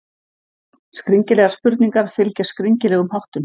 Skringilegar spurningar fylgja skringilegum háttum.